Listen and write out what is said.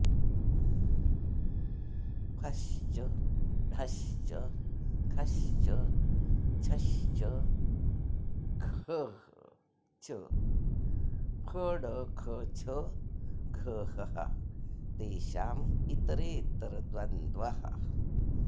फश्च ढश्च खश्च छश्च घ्ह च फढखछघ्हः तेषां ॰ इतरेतरद्वन्द्वः